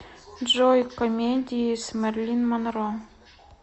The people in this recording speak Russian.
джой комедии с мерлин монро